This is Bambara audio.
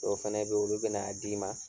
Dɔw fɛnɛ bɛ ye olu bɛna n'a d'i ma.